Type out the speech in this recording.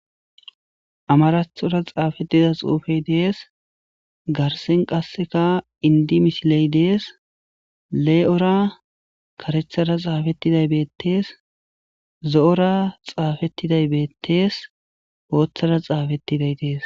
amarathora xaafedida xuufey dees garsen qasseka indi misiley dees lee7ora karethara xaafettiday beettees zo7ora xaafettiday beettees ooththara xaafettiday dees